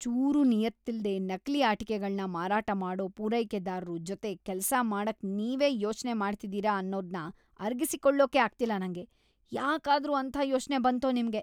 ಚೂರೂ ನಿಯತ್ತಿಲ್ದೇ ನಕಲಿ ಆಟಿಕೆಗಳ್ನ ಮಾರಾಟ ಮಾಡೋ ಪೂರೈಕೆದಾರ್ರು ಜೊತೆ ಕೆಲ್ಸ ಮಾಡಕ್‌ ನೀವ್‌ ಯೋಚ್ನೆ ಮಾಡ್ತಿದೀರ ಅನ್ನೋದ್ನ ಅರಗಿಸ್ಕೊಳಕ್ಕೇ ಆಗ್ತಿಲ್ಲ ನಂಗೆ, ಯಾಕಾದ್ರೂ ಅಂಥ ಯೋಚ್ನೆ ಬಂತೋ ನಿಮ್ಗೆ.